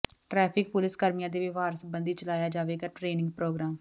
traffic police ਕਰਮੀਆਂ ਦੇ ਵਿਵਹਾਰ ਸਬੰਧੀ ਚਲਾਇਆ ਜਾਵੇਗਾ ਟ੍ਰੇਨਿੰਗ ਪ੍ਰੋਗਰਾਮ